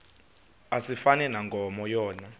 asifani nankomo yona